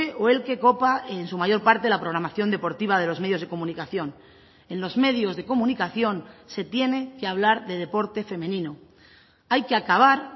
o el que copa en su mayor parte de la programación deportiva de los medios de comunicación en los medios de comunicación se tiene que hablar de deporte femenino hay que acabar